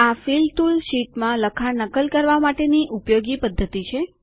આ fill tool શીટમાં લખાણની નકલ કરવા માટેની ઉપયોગી પદ્ધતિ છે